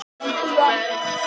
Kona sem fór alla leið